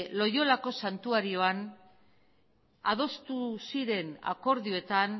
loiolako santuarioan adostu ziren akordioetan